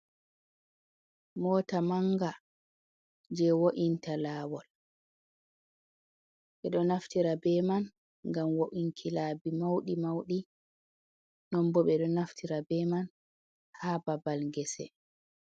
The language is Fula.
Mota manga je wo’inta lawol, ɓe ɗo naftira be man ngam wo’inki laabi mauɗi mauɗi, non bo ɓe ɗo naftira be man ha babal gese.